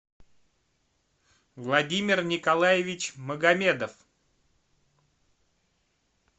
владимир николаевич магомедов